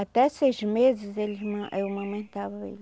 Até seis meses eles ma eu amamentava ele.